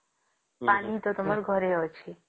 ପାଣି ତ ତମର ଘରେ ଅଛି